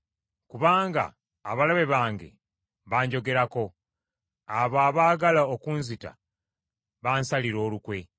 Kubanga abalabe bange banjogerako; abo abaagala okunzita bansalira olukwe.